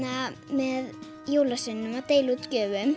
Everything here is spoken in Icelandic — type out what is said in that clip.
með jólasveininum að deila út gjöfum